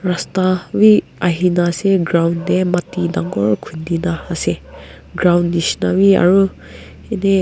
rasta b ahina ase ground de mati dangor khundi na ase ground nishena b aro eni.